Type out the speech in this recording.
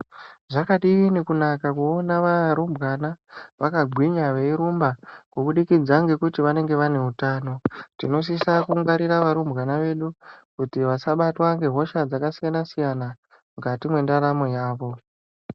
Zvakadini kunaka kuona va rumbwana vaka gwinya vei rumba kubudikidza ngekuti vanenge vane utano tinosisa ku ngwarira varumbwana vedu kuti vasabatwa nge hosha dzaka siyana siyana mukati mwe ndaramo yavo.